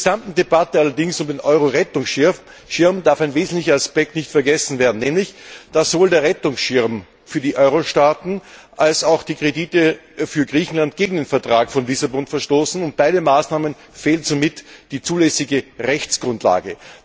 In der gesamten Debatte um den Eurorettungsschirm allerdings darf ein wesentlicher Aspekt nicht vergessen werden, nämlich dass sowohl der Rettungsschirm für die Eurostaaten als auch die Kredite für Griechenland gegen den Vertrag von Lissabon verstoßen. Beiden Maßnahmen fehlt somit die zulässige Rechtsgrundlage.